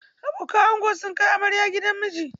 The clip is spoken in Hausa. Abokan ango sun kai amarya gidan mijinta.